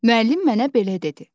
Müəllim mənə belə dedi: